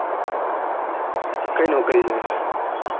કઈ નોકરી જોવીયે